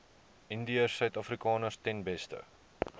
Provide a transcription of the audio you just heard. indiërsuidafrikaners ten beste